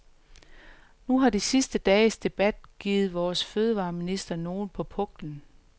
Nu har de sidste dages debat givet vores fødevareminister nogle på puklen.